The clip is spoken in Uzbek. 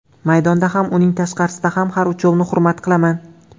Maydonda ham, uning tashqarasida ham har uchovini hurmat qilaman.